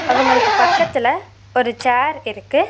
அவங்களுக்கு பக்கத்துல ஒரு சேர் இருக்கு.